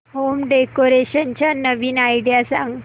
home decoration च्या नवीन idea सांग